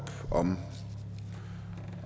om